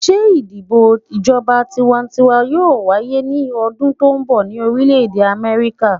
Ṣe idibo ijọba tiwantiwa yoo waye ni ọdun to nbọ ni Orilẹ Amẹrika?